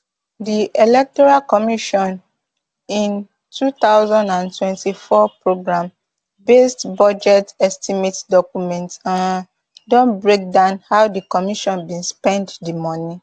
di electoral commission im two thousand and twenty-four programmebased budget estimate document um don breakdown how di commission bin spend di moni